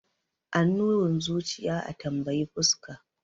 Annurin zuciya a tambayi fuska.